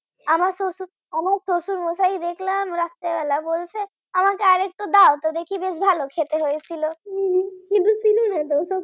আমার শ্বশুর আমার শ্বশুরমশাই দেখলাম রাত্রে বেলায় বলছে আমাকে আর একটু দাওতো দেখি বেশ ভালো খেতে হয়েছিল।